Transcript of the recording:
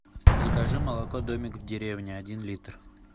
закажи молоко домик в деревне один литр